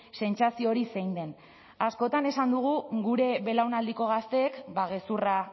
sentsazio hori zein den askotan esan dugu gure belaunaldiko gazteek gezurra